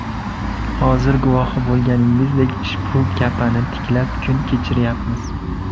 Hozir guvohi bo‘lganingizdek, ushbu kapani tiklab, kun kechiryapmiz.